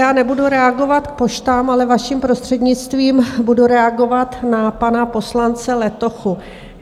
Já nebudu reagovat k poštám, ale vaším prostřednictvím budu reagovat na pana poslance Letochu.